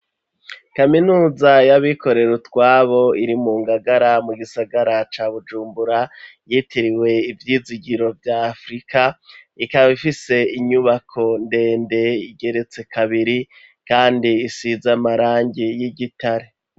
Kaminuza yabikorera utwabo iri mu ngagara mu gisagara ca bujumbura yitiriwe ivyizigiro vyafurika ikaba ifise inyubako ndende igeretse kabiri, kandi isiza amarangi y'igitare.